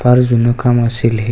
फार जुन काम असेल हे.